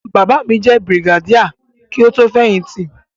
Bàbá mi jẹ́ Brigadier kí ó tó fẹ̀yìn tì.